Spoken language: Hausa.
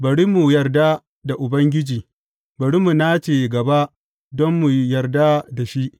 Bari mu yarda da Ubangiji; bari mu nace gaba don mu yarda da shi.